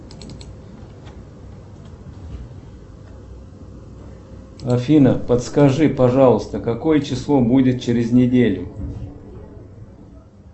афина подскажи пожалуйста какое число будет через неделю